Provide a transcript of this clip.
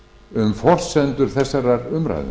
um forsendur þessarar umræðu